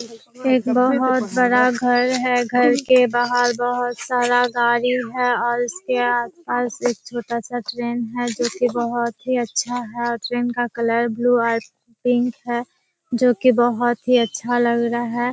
एक बहुत बड़ा घर है घर के बाहर बहुत सारा गार्डन है और इसके आस-पास एक छोटा-सा ट्रैन है जो की बहुत ही अच्छा है और ट्रैन का कलर ब्लू और पिंक है जो की बहुत अच्छा लग रहा है।